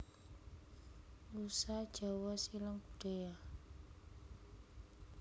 Nusa Jawa Silang Budaya